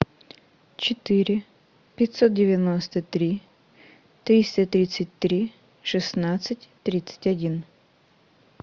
четыре пятьсот девяносто три триста тридцать три шестнадцать тридцать один